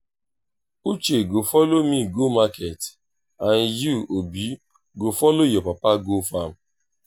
uche go follow me go market and you obi go follow your papa go farm